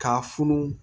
K'a funu